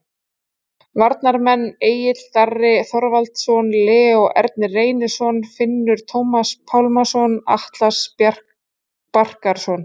Varnarmenn: Egill Darri Þorvaldsson, Leó Ernir Reynisson, Finnur Tómas Pálmason, Atli Barkarson